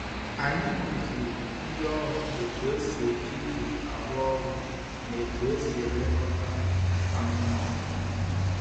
Anyị kụziri ndị ọrụ otu esi eji igwe arụ ọrụ na otu esi elekọta anụmanụ.